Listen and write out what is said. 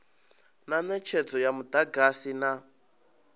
na netshedzo ya mudagasi na